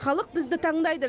халық бізді таңдайды